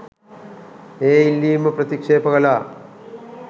ඒ ඉල්ලීම ප්‍රතික්ෂේප කළා.